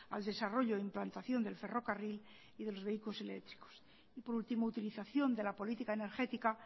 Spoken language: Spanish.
al desarrollo e implantación del ferrocarril y de los vehículos eléctricos y por último utilización de la política energética